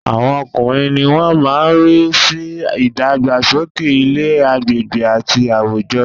Àwọn ọkùnrin ni wọ́n má ń rí sí ìdàgbàsókè ilé, agbègbè àti àwùjọ